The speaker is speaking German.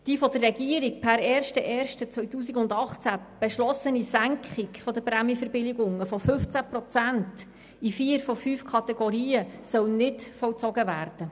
Die von der Regierung per 01. 01. 2018 beschlossene Senkung der Prämienverbilligung um 15 Prozent in vier von fünf Kategorien soll nicht vollzogen werden.